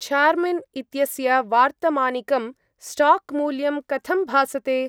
Charmin इत्यस्य वार्तमानिकं स्टाक्-मूल्यं कथं भासते?